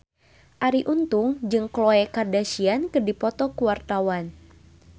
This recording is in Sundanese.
Arie Untung jeung Khloe Kardashian keur dipoto ku wartawan